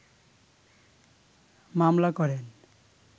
মামলা করেন